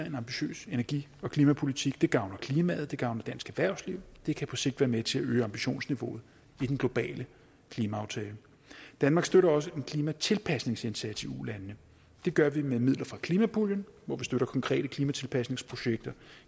en ambitiøs energi og klimapolitik det gavner klimaet det gavner dansk erhvervsliv og det kan på sigt være med til at øge ambitionsniveauet i den globale klimaaftale danmark støtter også en klimatilpasningsindsats i ulandene det gør vi med midler fra klimapuljen hvor vi støtter konkrete klimatilpasningsprojekter